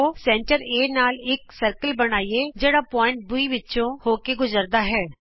ਆਉ ਕੇਂਦਰ A ਨਾਲ ਇਕ ਗੋਲਾ ਬਣਾਈਏ ਜਿਹੜਾ ਬਿੰਦੂ B ਵਿਚੋਂ ਹੋ ਕੇ ਗੁਜਰਦਾ ਹੈ